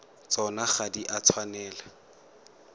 tsona ga di a tshwanela